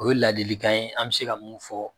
O ye ladilikan ye an mi se ka mun fɔ